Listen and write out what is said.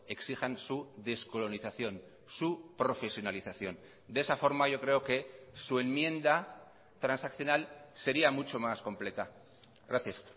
exijan su descolonización su profesionalización de esa forma yo creo que su enmienda transaccional sería mucho más completa gracias